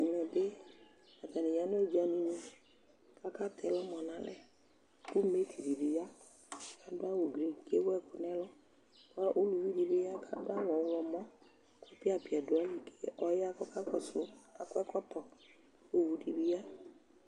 Ɛmɛ bɩ, atanɩ ya nʋ ʋdzanunɩ kʋ akatɛ ɛlʋmɔ nʋ alɛ kʋ metri dɩ bɩ ya kʋ adʋ awʋblu kʋ ewu ɛkʋ nʋ ɛlʋ kʋ uluvi dɩ bɩ ya kʋ adʋ awʋ ɔɣlɔmɔ kʋ ɛpɩa-pɩa dʋ ayili kʋ ɔya kʋ ɔkakɔsʋ kʋ akɔ ɛkɔtɔ kʋ owu dɩ bɩ ya